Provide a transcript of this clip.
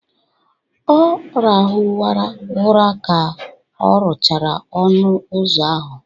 Ọ rahụwara ụra ka ọ rụchara ọnụ ụzọ ahụ